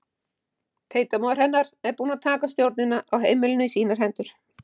Tengdamóðir hennar búin að taka stjórnina á heimilinu í sínar hendur.